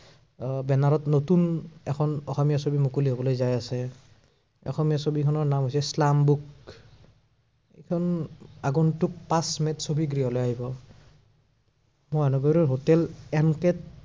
আহ বেনাৰত এখন নতুন অসমীয়া ছবি মুকলি হবলৈ যায় আছে। অসমীয়া ছবিখনৰ নাম হৈছে শ্লামবুক। সেইখন আগন্তুক পাঁচ মেত ছবি গৃহলৈ আহিব। মহানগৰীৰ hotel MK ত